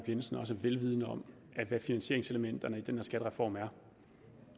jensen også er vel vidende om hvad finansieringselementerne i den her skattereform er